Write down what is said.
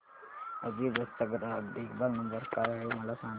अभिबस चा ग्राहक देखभाल नंबर काय आहे मला सांगाना